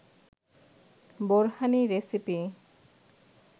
borhani recipe